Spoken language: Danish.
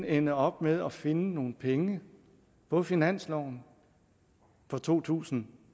ende op med at finde nogle penge på finansloven for to tusind